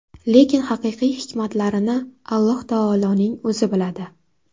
Lekin haqiqiy hikmatlarini Alloh taoloning O‘zi biladi.